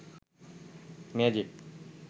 magic